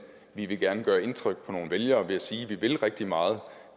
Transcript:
vi vil gerne gøre indtryk på nogle vælgere ved at sige at man vil rigtig meget